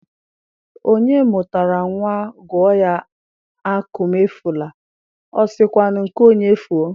Onye mụtara nwa gụọ ya Akụmefule, o sị kwanụ nke onye fuo?